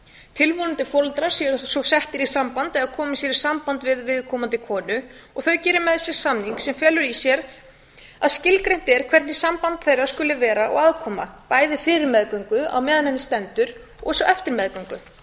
tilvonandi foreldrar eru svo settir í samband eða koma sér í sambandi við viðkomandi konu og þau gera með sér samning sem felur í sér að skilgreint er hvernig samband þeirra skuli vera og aðkoma bæði fyrir meðgöngu meðan á henni stendur og svo eftir meðgöngu